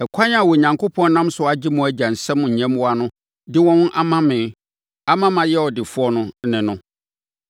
Ɛkwan a Onyankopɔn nam so agye mo agya nsam nyɛmmoa no de wɔn ama me ama mayɛ ɔdefoɔ no ne no.